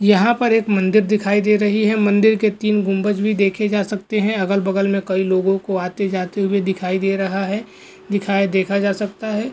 यहाँ पर एक मंदिर दिखाई दे रहे है मंदिर के तीन गुम्बज भी देखे जा सकते है अगल बगल में कई लोगो को आते जाते हुवे दिखाई दे रहा है दिखाई देखा जा सकता है।